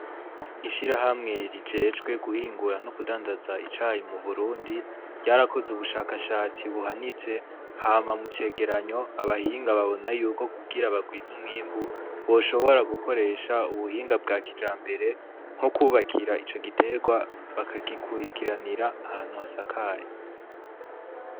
Ishirahamwe rijejwe guhingura no kudandaza icayi mu Burundi, ryarakoze ubushakashatsi buhanitse hama mu cegeranyo abahinga babona yuko kugira bagwize umwimbu boshobora gukoresha ubuhinga bwa kijambere ,nko kubakira ico giterwa, bakagikwirikiranira ahantu hasakaye.